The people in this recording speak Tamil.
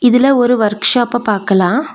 இதுல ஒரு வர்க் ஷாப்ப பாக்கலா.